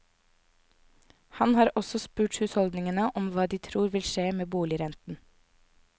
Han har også spurt husholdningene om hva de tror vil skje med boligrenten.